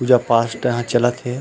पूजा पास्ट यहाँ चलत हे।